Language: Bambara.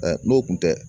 n'o tun tɛ